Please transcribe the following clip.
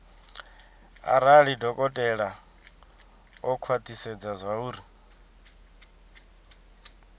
arali dokotela o khwathisedza zwauri